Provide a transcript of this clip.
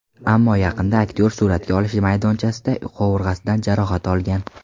Ammo yaqinda aktyor suratga olish maydonchasida qovurg‘asidan jarohat olgan.